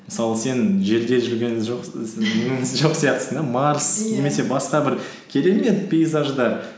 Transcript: мысалы сен жерде жүрген жоқ сияқтысың да марс иә немесе басқа бір керемет пейзаждар